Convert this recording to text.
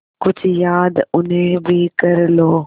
कुछ याद उन्हें भी कर लो